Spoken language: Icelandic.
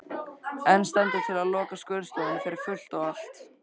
En stendur til að loka skurðstofunni fyrir fullt og allt?